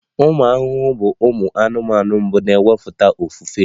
Ụmụ ahụhụ bụ ụmụ anụmanụ mbụ na-emepụta ofufe